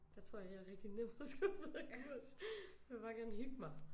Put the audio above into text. Der tror jeg jeg er rigtig nem at skubbe ud af kurs altså jeg vil bare gerne hygge mig